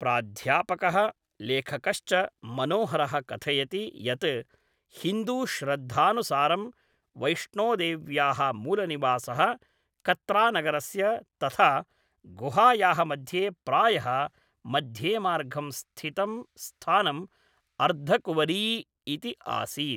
प्राध्यापकः लेखकश्च मनोहरः कथयति यत् हिन्दूश्रद्धानुसारं वैष्णोदेव्याः मूलनिवासः कत्रानगरस्य तथा गुहायाः मध्ये प्रायः मध्येमार्गं स्थितं स्थानम् अर्धकुवरी इति आसीत्।